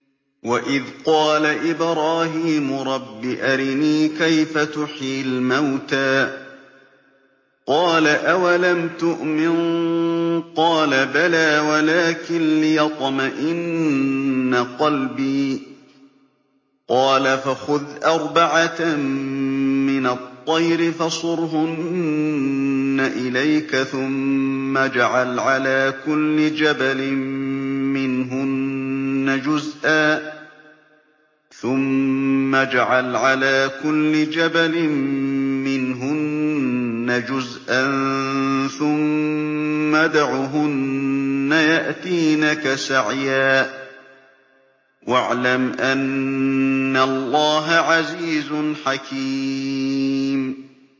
وَإِذْ قَالَ إِبْرَاهِيمُ رَبِّ أَرِنِي كَيْفَ تُحْيِي الْمَوْتَىٰ ۖ قَالَ أَوَلَمْ تُؤْمِن ۖ قَالَ بَلَىٰ وَلَٰكِن لِّيَطْمَئِنَّ قَلْبِي ۖ قَالَ فَخُذْ أَرْبَعَةً مِّنَ الطَّيْرِ فَصُرْهُنَّ إِلَيْكَ ثُمَّ اجْعَلْ عَلَىٰ كُلِّ جَبَلٍ مِّنْهُنَّ جُزْءًا ثُمَّ ادْعُهُنَّ يَأْتِينَكَ سَعْيًا ۚ وَاعْلَمْ أَنَّ اللَّهَ عَزِيزٌ حَكِيمٌ